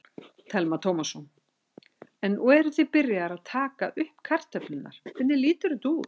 Telma Tómasson: En nú eruð þið byrjaðir að taka upp kartöflurnar, hvernig lítur þetta út?